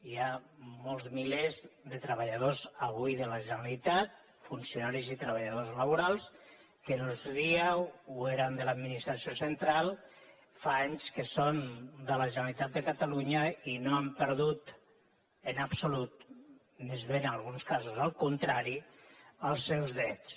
hi ha molts milers de treballa·dors avui de la generalitat funcionaris i treballadors laborals que en el seu dia ho eren de l’administració central fa anys que són de la generalitat de catalunya i no han perdut en absolut més aviat en alguns casos al contrari els seus drets